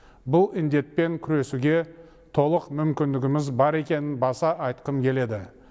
бұл індетпен күресуге толық мүмкіндігіміз бар екенін баса айтқым келеді